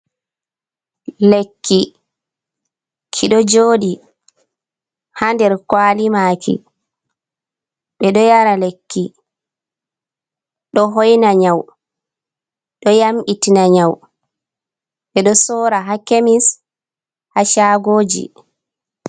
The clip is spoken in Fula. Lekki ki ɗo joɗi ha nder kwali maki, ɓe ɗo yara lekki, ɗo hoina nyau, ɗo nyamɓi tina nyau, ɓe ɗo sora ha kemis ha chagoji.